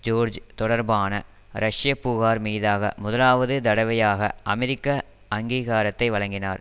George தொடர்பான ரஷ்ய புகார் மீதாக முதலாவது தடவையாக அமெரிக்க அங்கீகாரத்தை வழங்கினார்